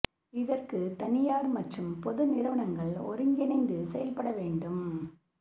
இதற்கு தனியார் மற்றும் பொது நிறுவனங்கள் ஒருங்கிணைந்து செயல்பட வேண்டும்